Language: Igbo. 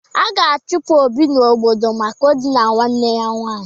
A ga-achụpụ Obi n'obodo maka idina nwanne ya nwaanyị.